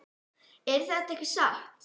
Er þetta ekki satt?